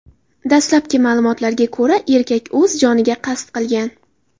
Dastlabki ma’lumotlarga ko‘ra, erkak o‘z joniga qasd qilgan.